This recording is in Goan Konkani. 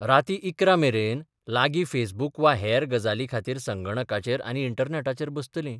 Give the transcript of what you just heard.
रातीं इकरा मेरेन लागीं फेसबूक वा हेर गजालीं खातीर संगणकाचेर आनी इंटरनॅटाचेर बसतलीं.